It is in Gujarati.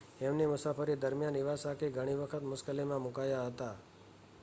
એમની મુસાફરી દરમિયાન ઇવાસાકી ઘણી વખત મુશ્કેલીમાં મુકાયા હતા